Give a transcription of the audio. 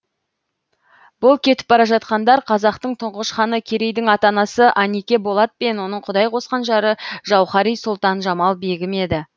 бұл кетіп бара жатқандар қазақтың тұңғыш ханы керейдің ата анасы анике болат пен оның құдай қосқан жары жауһари сұлтан жамал бегім еді